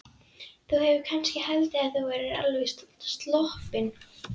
Þú hefur kannski haldið að þú værir alveg sloppinn?